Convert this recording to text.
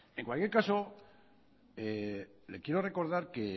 en cualquier caso le quiero recordar que